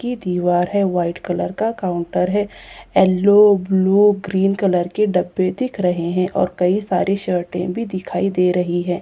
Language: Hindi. की दीवार है वाइट कलर का काउंटर है येल्लो ब्लू ग्रीन कलर के डब्बे दिख रहे है और कई सारी शर्टे भी दिखाई दे रही है।